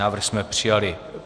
Návrh jsme přijali.